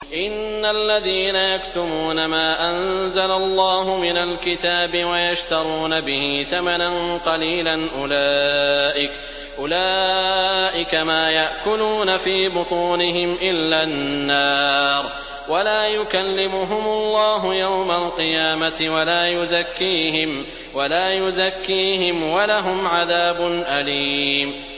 إِنَّ الَّذِينَ يَكْتُمُونَ مَا أَنزَلَ اللَّهُ مِنَ الْكِتَابِ وَيَشْتَرُونَ بِهِ ثَمَنًا قَلِيلًا ۙ أُولَٰئِكَ مَا يَأْكُلُونَ فِي بُطُونِهِمْ إِلَّا النَّارَ وَلَا يُكَلِّمُهُمُ اللَّهُ يَوْمَ الْقِيَامَةِ وَلَا يُزَكِّيهِمْ وَلَهُمْ عَذَابٌ أَلِيمٌ